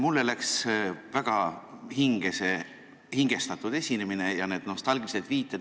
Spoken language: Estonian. Mulle läks väga hinge see hingestatud esinemine ja need nostalgilised viited.